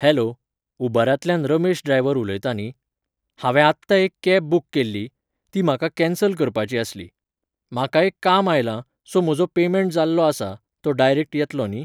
Hello, उबरांतल्यान Ramesh driver उलयता न्ही? हांवें आत्तां एक कॅब बूक केल्ली, ती म्हाका कॅन्सल करपाची आसली. म्हाका एक काम आयलां, सो म्हजो पेमेंट जाल्लो आसा, तो डायरेक्ट येतलो न्ही?